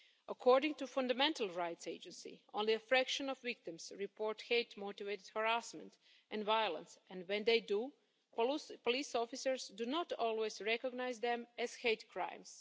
According to the Fundamental Rights Agency, only a fraction of victims report hate motivated harassment and violence and, when they do, police officers do not always recognise them as hate crimes.